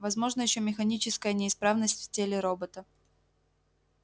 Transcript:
возможна ещё механическая неисправность в теле робота